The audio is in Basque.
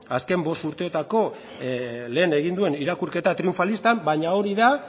azken bost urteotako lehen egin duen irakurketa triunfalistan baina hori da